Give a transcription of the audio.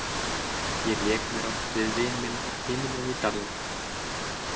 Ég lék mér oft við vin minn hinum megin í dalnum.